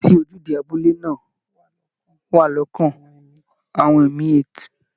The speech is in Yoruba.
Ìrántí ojúde abúlé náà wà lọ́kàn àwọn emi8